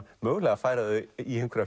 mögulega að færa þau í einhverja